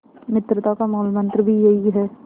मित्रता का मूलमंत्र भी यही है